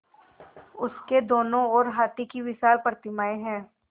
उसके दोनों ओर हाथी की विशाल प्रतिमाएँ हैं